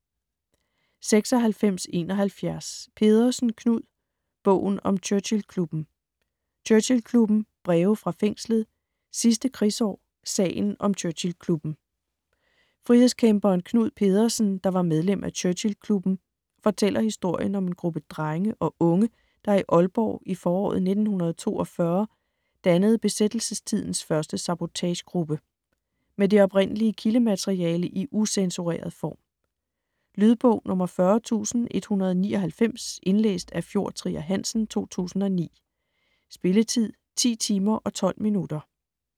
96.71 Pedersen, Knud: Bogen om Churchill-klubben: Churchill-klubben, Breve fra fængslet, Sidste krigsår, Sagen om Churchill-klubben Frihedskæmperen Knud Pedersen, der var medlem af Churchill-klubben, fortæller historien om en gruppe drenge og unge, der i Aalborg i foråret 1942 dannede besættelsestidens første sabotagegruppe. Med det oprindelige kildemateriale i ucensureret form. Lydbog 40199 Indlæst af Fjord Trier Hansen, 2009. Spilletid: 10 timer, 12 minutter.